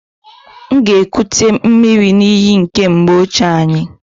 M ga-ekute miri n'iyi nke mgbe ochie anyị.